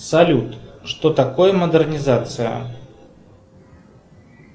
салют что такое модернизация